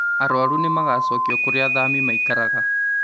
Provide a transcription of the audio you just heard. Arwaru nĩmagũcokio kũrĩa athami maikaraga